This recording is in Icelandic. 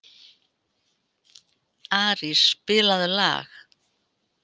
Arís, spilaðu lag.